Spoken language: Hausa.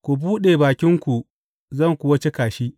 Ku buɗe bakinku zan kuwa cika shi.